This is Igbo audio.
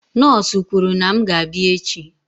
Nọọsụ kwuru na m ga-abịa echi.